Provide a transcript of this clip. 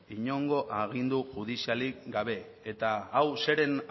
inongo agindu judizialik gabe eta hau zeren